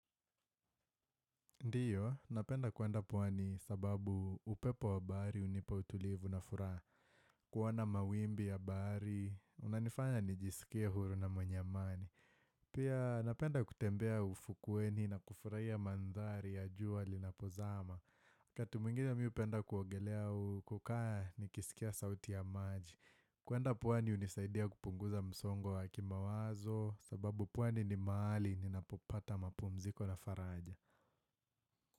Ndio, napenda kuenda pwani kwa sababu upepo wa bahari hunipa utulivu na furaha. Kuona mawimbi ya bahari, kunanifanya nijisikie huru na mwenye amani. Pia napenda kutembea ufukweni na kufurahia mandhari ya jua linapozama. Wakati mwingine mi hupenda kuogelea au kukaa nikisikia sauti ya maji. Kuenda pwani hunisaidia kupunguza msongo wa kimawazo sababu pwani ni mahali ninapopata mapumziko na faraja.